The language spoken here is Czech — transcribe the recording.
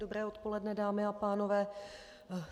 Dobré odpoledne, dámy a pánové.